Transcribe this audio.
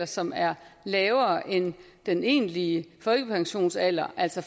som er lavere end den egentlige folkepensionsalder altså